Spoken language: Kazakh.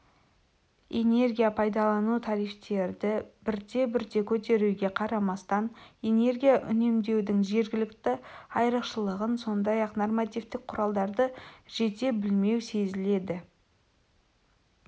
энергия пайдалану тарифтерді бірте бірте көтеруге қарамастан энергия үнемдеудің жергілікті айрықшылығын сондай-ақ нормативтік құралдарды жете білмеу сезіледі